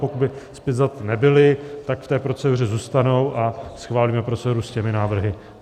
Pokud by zpětvzaty nebyly, tak v té proceduře zůstanou a schválíme proceduru s těmi návrhy.